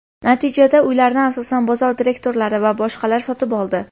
Natijada uylarni, asosan, bozor direktorlari va boshqalar sotib oldi.